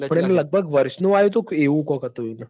પણ લગભગ વષ નું આયુ તું ક એવું કોક હ તું હતું એતો